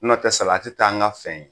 N'o tɛ salati t'an n ka fɛn ye